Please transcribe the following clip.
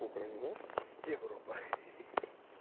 украину и европа